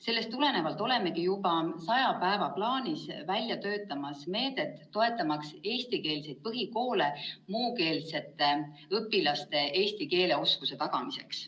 Sellest tulenevalt olemegi juba saja päeva plaanis välja töötamas meedet, mille abil toetada eestikeelseid põhikoole muukeelsete õpilaste eesti keele oskuse tagamiseks.